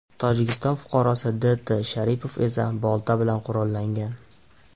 Tojikiston fuqarosi D. T. Sharipov esa bolta bilan qurollangan.